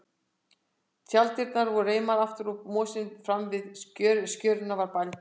Tjalddyrnar voru reimaðar aftur og mosinn framan við skörina var bældur.